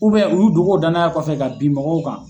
u y'u dogo o danaya kɔfɛ ka bin mɔgɔw kan.